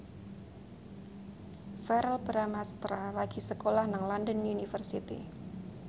Verrell Bramastra lagi sekolah nang London University